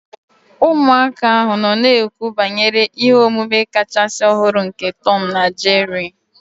Ụmụaka ahụ nọ na-ekwu banyere ihe omume kachasị ọhụrụ nke Tom na Jerry